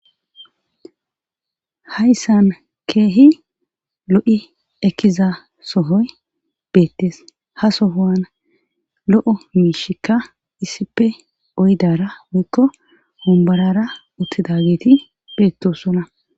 hayssan keehi lo7i ekkiza sohoy beettes ha sohoan lo7o miishikka issipe oydara woikko wombarara uttida geeti beettosona